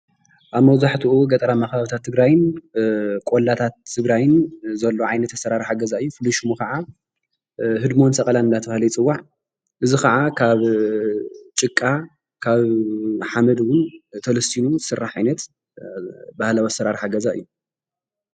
ኣብ መብዛሕትኡ ገጠራት ከባብታት ትግራይን ቆላታት ትግራይን ዘሎ ዓይነት ኣሰራርሓ ገዛ እዩ። ፍሉይ ሽሙ ኸዓ ህድሞን ሰቐለን እናተባሃለ ይፅዋዕ እዙይ ኸዓ ኻብ ጭቃ ሓመድ እውን ተለሲኑ ዝስራሕ ባህላዊ ዓይነት አሰሪርሓ ገዛ እዩ።